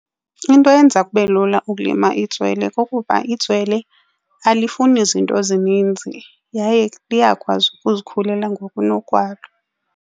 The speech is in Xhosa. Into eyenza kube lula ukulima itswele kukuba itswele alifuni zinto ezininzi yaye liyakwazi ukuzikhulela ngokunokwalo.